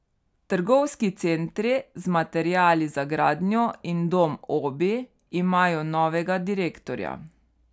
Trgovski centri z materiali za gradnjo in dom Obi imajo novega direktorja.